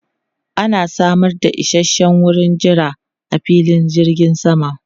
Ana samar da isasshen wurin jira a filin jirgin sama.